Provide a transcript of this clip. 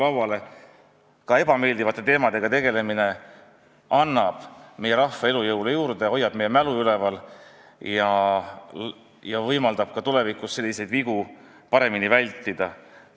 Aga ka ebameeldivate teemadega tegelemine annab meie rahvale juurde elujõudu, hoiab meie mälu üleval ja võimaldab tulevikus selliseid vigu paremini vältida.